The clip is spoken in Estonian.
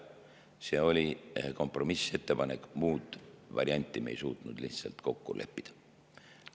See oli kompromissettepanek, muud varianti me ei suutnud lihtsalt kokku leppida.